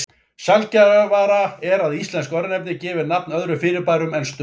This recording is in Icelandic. Sjaldgæfara er að íslensk örnefni gefi nafn öðrum fyrirbærum en stöðum.